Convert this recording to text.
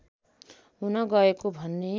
हुन गएको भन्ने